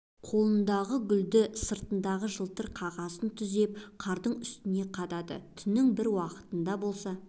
қолындағы гүлді сыртындағы жылтыр қағазын түзеп қардың үстіне қадады түннің бір уақытында болса